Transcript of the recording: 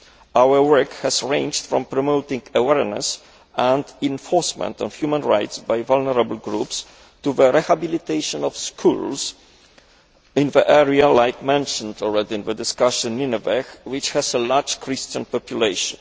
Our work has ranged from promoting awareness and enforcement of human rights among vulnerable groups to the rehabilitation of schools in areas already mentioned in the discussions, such as Nineveh, which has a large Christian population.